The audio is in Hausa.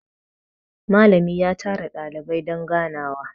nalami ya tara dalibai don ganawa